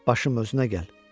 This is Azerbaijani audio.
Başım özünə gəl.